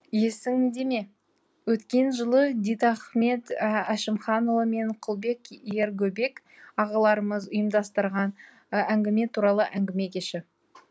есіңдеме өткен жылы дидахмет әшімханұлы мен құлбек ергөбек ағаларымыз ұйымдастырған әңгіме туралы әңгіме кеші